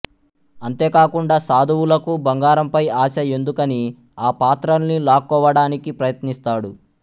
అంతే కాకుండా సాధువులకు బంగారంపై ఆశ ఎందుకనీ ఆ పాత్రల్ని లాక్కోవడానికి ప్రయత్నిస్తాడు